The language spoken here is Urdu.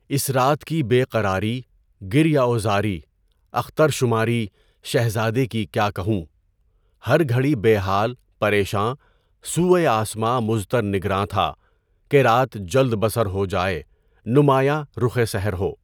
اس رات کی بے قراری، گریہ وزاری، اختر شماری، شہزادے کی کیا کہوں! ہر گھڑی بے حال، پریشاں، سوئے آسماں مضطر نگراں تھا کہ رات جلد بسر ہو جائے، نمایاں رخِ سحر ہو۔